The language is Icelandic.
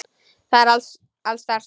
Það er alls staðar slökkt.